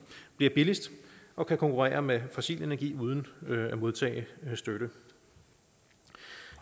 bliver billigst og kan konkurrere med fossil energi uden at modtage støtte